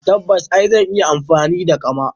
Tabbas eh! Zan iya amfani da kama.